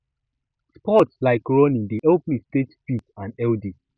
sports like running dey help me stay fit and healthy